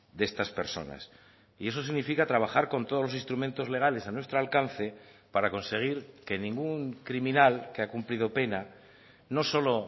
de estas personas y eso significa trabajar con todos los instrumentos legales a nuestro alcance para conseguir que ningún criminal que ha cumplido pena no solo